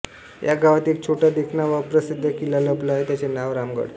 या गावात एक छोटा देखणा व अप्रसिद्ध किल्ला लपला आहे त्याचे नाव रामगड